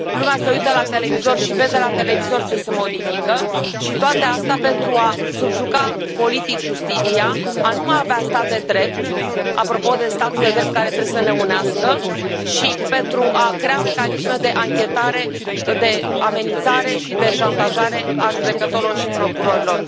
Lumea se uită la televizor și vede la televizor ce se modifică și toate astea pentru a subjuga politic justiția, a nu mai avea stat de drept apropo de statul de drept, care trebuie să ne unească și pentru a crea mecanisme de anchetare, de amenințare și de șantajare a judecătorilor și procurorilor.